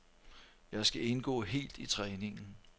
Jeg skal indgå helt i træningen.